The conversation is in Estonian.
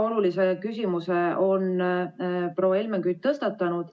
Proua Helmen Kütt on tõstatanud väga olulise küsimuse.